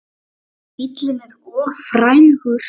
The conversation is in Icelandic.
En bíllinn er of frægur.